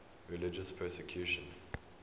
religious persecution